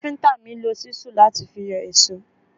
Káfíntà mi lo ṣísù láti fi yọ ìṣó.